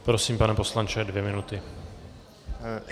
Prosím, pane poslanče, dvě minuty.